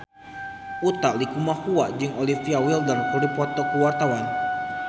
Utha Likumahua jeung Olivia Wilde keur dipoto ku wartawan